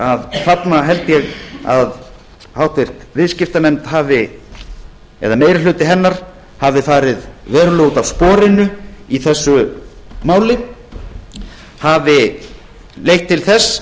að þarna held ég að háttvirtur viðskiptanefnd það er meiri hluti hennar hafi farið verulega út af sporinu í þessu máli hafi leitt til þess